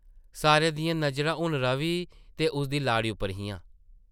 सारें दियां नजरां हून रवि ते उसदी लाड़ी उप्पर हियां ।